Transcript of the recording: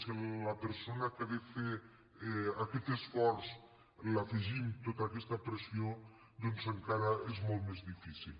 si a la persona que ha de fer aquest esforç li afegim tota aquesta pressió doncs encara és molt més difícil